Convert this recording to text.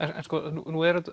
nú er